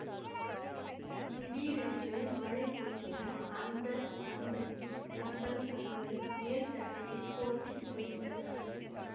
திடீரென்று மழை பொழிய அந்த தம்பதி தங்கள் தங்கள் மேல்சட்டையை போர்த்தி கொள்கின்றனர்